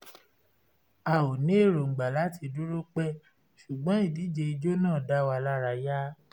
a ò ní erongba láti dúró pẹ́ ṣùgbọ́n ìdíje ijó náà dáwa lárayá